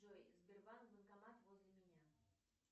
джой сбербанк банкомат возле меня